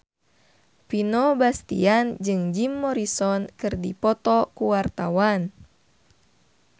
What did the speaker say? Vino Bastian jeung Jim Morrison keur dipoto ku wartawan